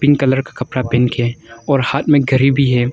Pink colour का कपड़ा पहन के और हाथ में घरी भी है।